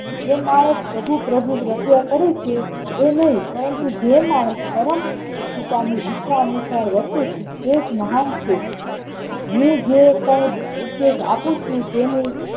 જે માણસ પ્રભુ પ્રભુ રટ્યા કરી છે તે નઈ પરંતુ જે માણસ પરમ કૃપા ની ઈચ્છા અનુસાર વર્તે છે તે જ મહાન છે હું કઉ ઉદેશ આપુછું તેને